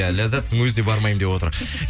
ләззаттың өзі де бармаймын деп отыр